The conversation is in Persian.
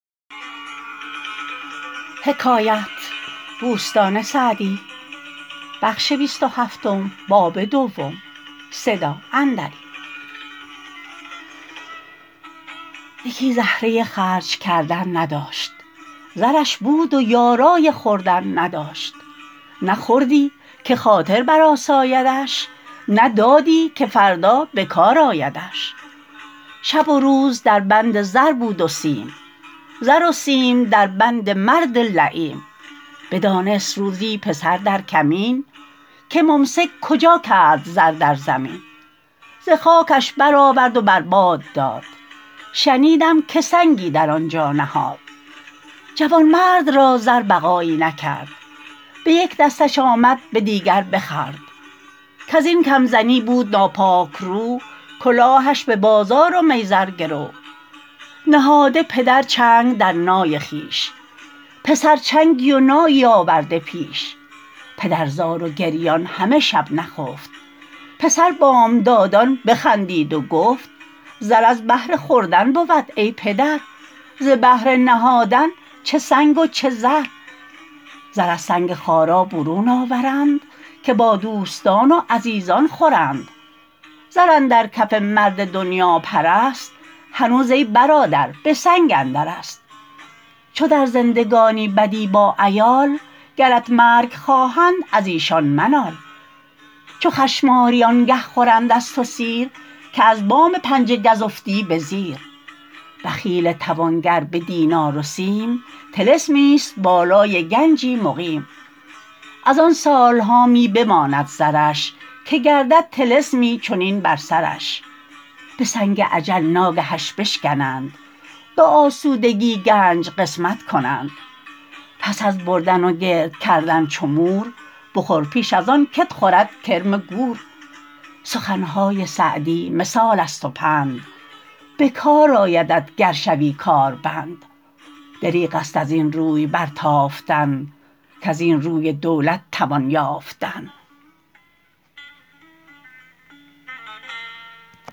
یکی زهره خرج کردن نداشت زرش بود و یارای خوردن نداشت نه خوردی که خاطر بر آسایدش نه دادی که فردا بکار آیدش شب و روز در بند زر بود و سیم زر و سیم در بند مرد لییم بدانست روزی پسر در کمین که ممسک کجا کرد زر در زمین ز خاکش بر آورد و بر باد داد شنیدم که سنگی در آن جا نهاد جوانمرد را زر بقایی نکرد به یک دستش آمد به دیگر بخورد کز این کم زنی بود ناپاک رو کلاهش به بازار و میزر گرو نهاده پدر چنگ در نای خویش پسر چنگی و نایی آورده پیش پدر زار و گریان همه شب نخفت پسر بامدادان بخندید و گفت زر از بهر خوردن بود ای پدر ز بهر نهادن چه سنگ و چه زر زر از سنگ خارا برون آورند که با دوستان و عزیزان خورند زر اندر کف مرد دنیاپرست هنوز ای برادر به سنگ اندرست چو در زندگانی بدی با عیال گرت مرگ خواهند از ایشان منال چو چشمآرو آنگه خورند از تو سیر که از بام پنجه گز افتی به زیر بخیل توانگر به دینار و سیم طلسمی است بالای گنجی مقیم از آن سالها می بماند زرش که لرزد طلسمی چنین بر سرش به سنگ اجل ناگهش بشکنند به اسودگی گنج قسمت کنند پس از بردن و گرد کردن چو مور بخور پیش از آن که ت خورد کرم گور سخنهای سعدی مثال است و پند به کار آیدت گر شوی کار بند دریغ است از این روی برتافتن کز این روی دولت توان یافتن